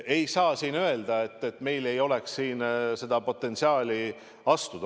Ei saa öelda, et meil ei oleks siin potentsiaali.